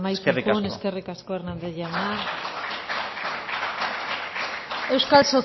ello eskerrik asko eskerrik asko hernández jauna